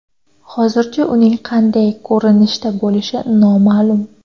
Hozircha uning qanday ko‘rinishda bo‘lishi noma’lum.